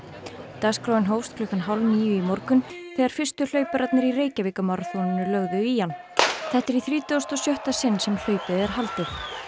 dagskráin hófst klukkan hálf níu í morgun þegar fyrstu hlaupararnir í Reykjavíkurmaraþoninu lögðu í hann þetta er í þrítugasta og sjötta sinn sem hlaupið er haldið